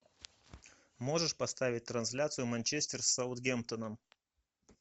можешь поставить трансляцию манчестер с саутгемптоном